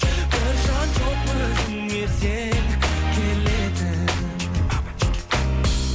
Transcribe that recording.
бір жан жоқ өзіңе сен келетін